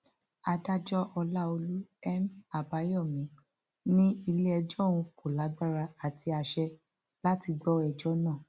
adájọ ọlàọlù m àbáyọmí ní iléẹjọ òun kò lágbára àti àsè láti gbọ ẹjọ náà